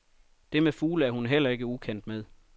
Det med fugle er hun heller ikke ukendt med.